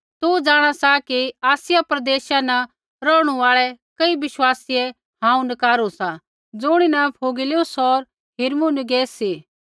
तू जाँणा सा कि आसिया प्रदेशा न रौहणु आल़ै कई विश्वासीयै हांऊँ नकारु सा ज़ुणीन फूगिलुस होर हिरमुगिनेस सी